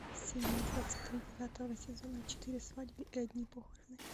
серия двадцать три девятого сезона четыре свадьбы и одни похороны